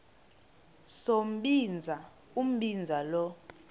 sombinza umbinza lo